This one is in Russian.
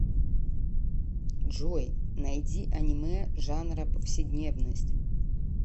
джой найди анимэ жанра повседневность